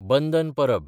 बंदन परब